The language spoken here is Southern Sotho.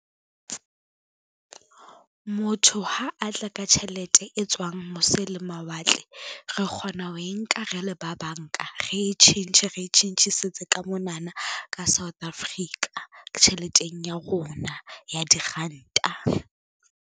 Motho ha a tla ka tjhelete e tswang mose le mawatle, re kgona ho e nka re le ba banka re e tjhentjhe re tjhentjhisetse ka monana ka South Africa, tjheleteng ya rona ya diranta,